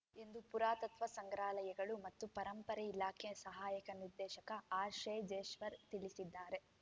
ಎಂದು ಪುರಾತತ್ವ ಸಂಗ್ರಹಾಲಯಗಳು ಮತ್ತು ಪರಂಪರೆ ಇಲಾಖೆ ಸಹಾಯಕ ನಿರ್ದೇಶಕ ಆರ್‌ಶೇಜೇಶ್ವರ್‌ ತಿಳಿಸಿದ್ದಾರೆ